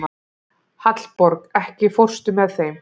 Hallborg, ekki fórstu með þeim?